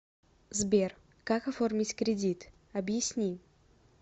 сбер как оформить кредит объясни